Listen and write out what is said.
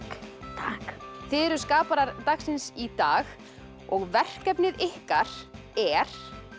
þið eruð dagsins í dag og verkefnið ykkar er